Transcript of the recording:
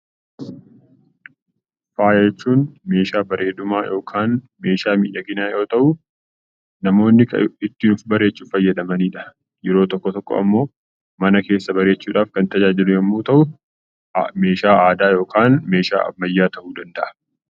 Faaya jechuun meeshaa bareedinaa yookaan meeshaa miidhaginaa yoo ta'u, namoonni ittiin of bareechuuf ittiin fayyadamanidha. Yeroo tokko tokko ammoo mana keessa bareechuudhaaf kan tajaajilu yommuu ta'u, meeshaa aadaa yookaan meeshaa ammayyaa ta'uu danda'a.